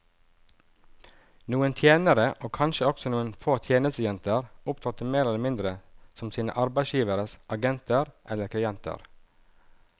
Noen tjenere, og kanskje også noen få tjenestejenter, opptrådte mer eller mindre som sine arbeidsgiveres agenter eller klienter.